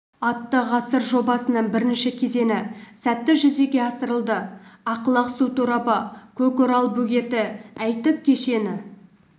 атты ғасыр жобасының бірінші кезеңі сәтті жүзеге асырылды ақлақ су торабы көкарал бөгеті әйтек кешені